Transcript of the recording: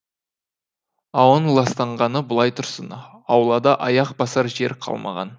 ауаның ластанғаны былай тұрсын аулада аяқ басар жер қалмаған